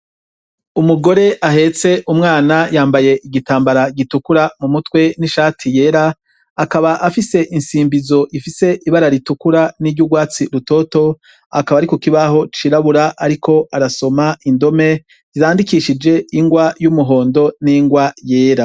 Umugore ahetse umwana yambaye igitambara gitukura mu mutwe n'ishati yera akaba afise insimbizo ifise ibara ritukura n'iryo urwatsi rutoto akaba ari ku kibaho cirabura, ariko arasoma indome irandikishije ingwa y'umuhondo n'ingwa yera.